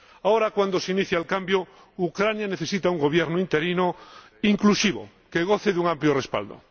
Ahora, cuando se inicia el cambio, Ucrania necesita un gobierno interino inclusivo que goce de un amplio respaldo.